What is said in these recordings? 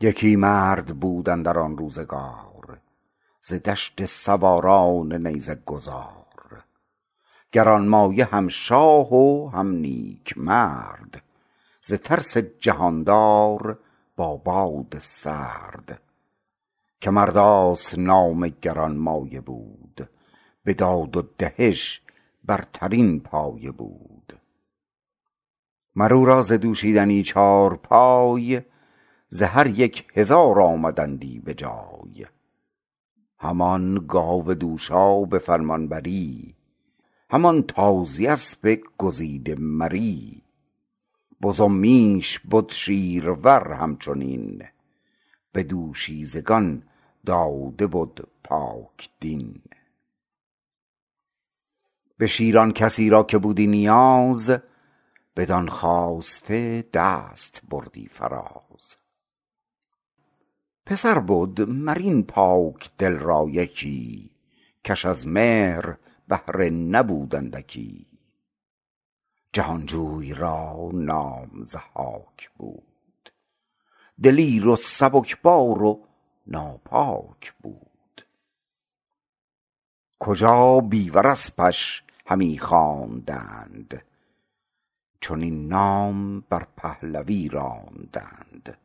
یکی مرد بود اندر آن روزگار ز دشت سواران نیزه گذار گرانمایه هم شاه و هم نیک مرد ز ترس جهاندار با باد سرد که مرداس نام گرانمایه بود به داد و دهش برترین پایه بود مر او را ز دوشیدنی چارپای ز هر یک هزار آمدندی به جای همان گاو دوشا به فرمانبری همان تازی اسب گزیده مری بز و میش بد شیرور همچنین به دوشیزگان داده بد پاکدین به شیر آن کسی را که بودی نیاز بدان خواسته دست بردی فراز پسر بد مر این پاکدل را یکی کش از مهر بهره نبود اندکی جهانجوی را نام ضحاک بود دلیر و سبکسار و ناپاک بود کجا بیور اسپش همی خواندند چنین نام بر پهلوی راندند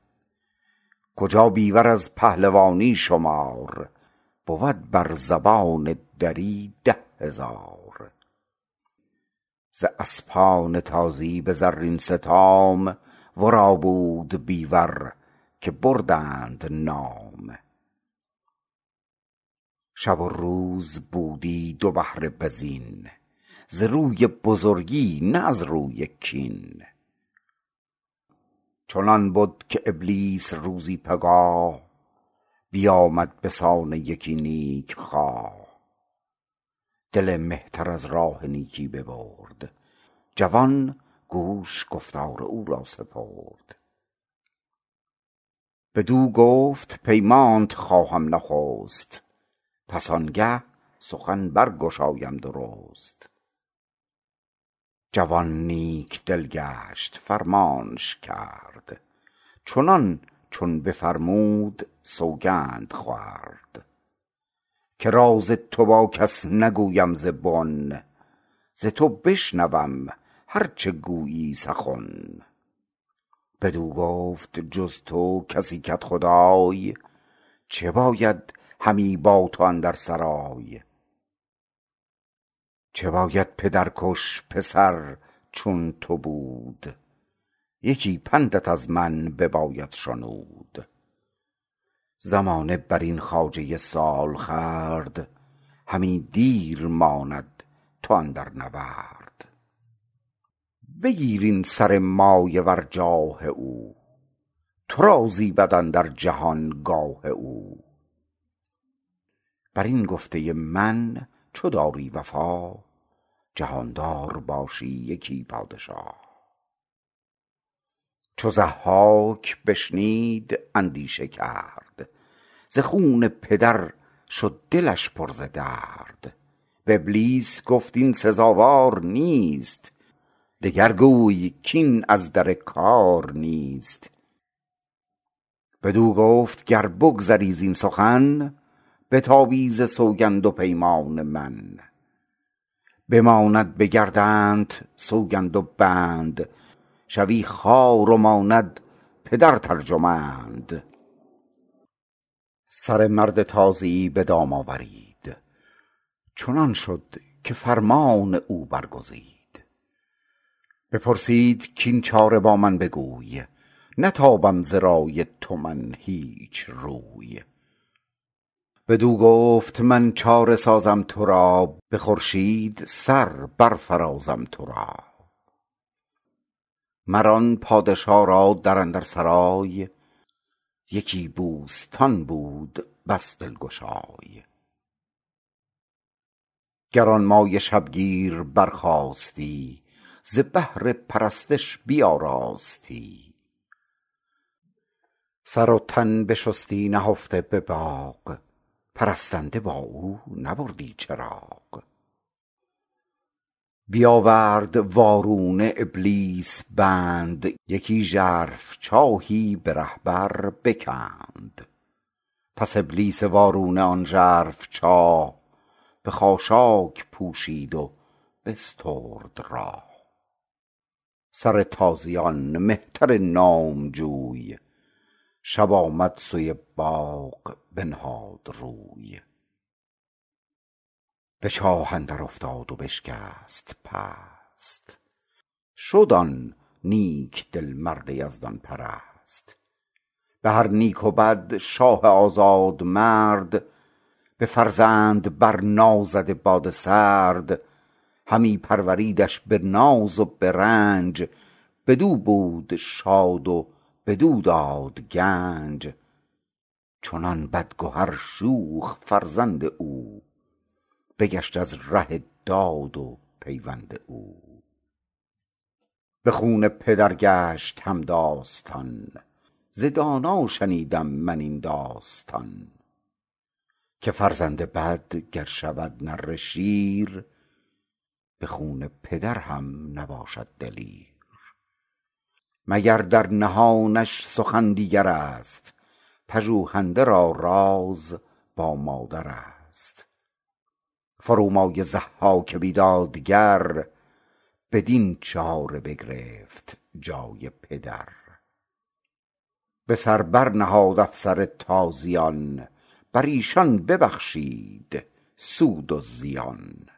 کجا بیور از پهلوانی شمار بود بر زبان دری ده هزار ز اسپان تازی به زرین ستام ورا بود بیور که بردند نام شب و روز بودی دو بهره به زین ز روی بزرگی نه از روی کین چنان بد که ابلیس روزی پگاه بیامد به سان یکی نیک خواه دل مهتر از راه نیکی ببرد جوان گوش گفتار او را سپرد بدو گفت پیمانت خواهم نخست پس آنگه سخن برگشایم درست جوان نیک دل گشت فرمانش کرد چنان چون بفرمود سوگند خورد که راز تو با کس نگویم ز بن ز تو بشنوم هر چه گویی سخن بدو گفت جز تو کسی کدخدای چه باید همی با تو اندر سرای چه باید پدر کش پسر چون تو بود یکی پندت از من بباید شنود زمانه برین خواجه سالخورد همی دیر ماند تو اندر نورد بگیر این سر مایه ور جاه او تو را زیبد اندر جهان گاه او بر این گفته من چو داری وفا جهاندار باشی یکی پادشا چو ضحاک بشنید اندیشه کرد ز خون پدر شد دلش پر ز درد به ابلیس گفت این سزاوار نیست دگر گوی کاین از در کار نیست بدو گفت گر بگذری زین سخن بتابی ز سوگند و پیمان من بماند به گردنت سوگند و بند شوی خوار و ماند پدرت ارجمند سر مرد تازی به دام آورید چنان شد که فرمان او برگزید بپرسید کاین چاره با من بگوی نتابم ز رای تو من هیچ روی بدو گفت من چاره سازم ترا به خورشید سر برفرازم ترا مر آن پادشا را در اندر سرای یکی بوستان بود بس دلگشای گرانمایه شبگیر برخاستی ز بهر پرستش بیاراستی سر و تن بشستی نهفته به باغ پرستنده با او ببردی چراغ بیاورد وارونه ابلیس بند یکی ژرف چاهی به ره بر بکند پس ابلیس وارونه آن ژرف چاه به خاشاک پوشید و بسترد راه سر تازیان مهتر نامجوی شب آمد سوی باغ بنهاد روی به چاه اندر افتاد و بشکست پست شد آن نیک دل مرد یزدان پرست به هر نیک و بد شاه آزاد مرد به فرزند بر نازده باد سرد همی پروریدش به ناز و به رنج بدو بود شاد و بدو داد گنج چنان بدگهر شوخ فرزند او بگشت از ره داد و پیوند او به خون پدر گشت همداستان ز دانا شنیدم من این داستان که فرزند بد گر شود نره شیر به خون پدر هم نباشد دلیر مگر در نهانش سخن دیگرست پژوهنده را راز با مادرست فرومایه ضحاک بیدادگر بدین چاره بگرفت جای پدر به سر بر نهاد افسر تازیان بر ایشان ببخشید سود و زیان